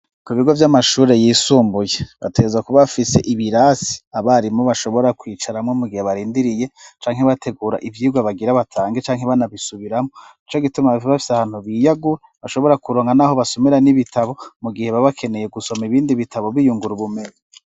Ku bigo vy'amashuri yisumbuye bateza kuba bafise ibirasi abarimu bashobora kwicaramo mu gihe barindiriye cyanke iibategura ibyigu abagira batange canke hibanabisubiramo icyo gituma bifaba fyahantu biyagur bashobora kuronga n'aho basomera n'ibitabo mu gihe babakeneye gusoma ibindi bitabo biyungra ubumene.